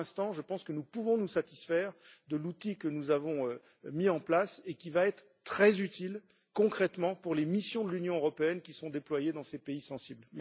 Mais pour l'instant, je pense que nous pouvons nous satisfaire de l'outil que nous avons mis en place et qui va être très utile concrètement pour les missions de l'Union européenne qui sont déployées dans ces pays sensibles.